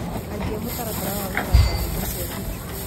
ambĩa mũtaratara wa gũthaka nyĩmbo cĩa zuchu